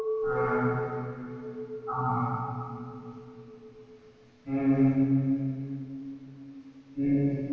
அஹ் ஆமா ஹம் ஹம்